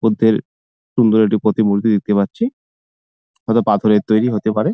বুদ্ধের সুন্দর একটি প্রতিমূর্তি দেখতে পাচ্ছি |হয়তো পাথরের তৈরি হতে পারে।